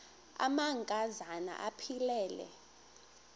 amanka zana aphilele